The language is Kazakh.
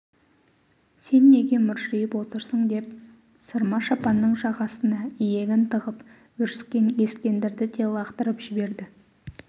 сен неге мыржиып отырсың деп сырма-шапанның жағасына иегін тығып бүріскен ескендірді де лақтырып жіберді